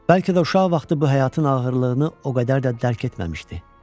Bəlkə də uşaq vaxtı bu həyatın ağırlığını o qədər də dərk etməmişdi.